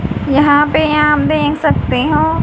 यहां पे यहां देख सकते हो--